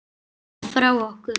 Þú ert farin frá okkur.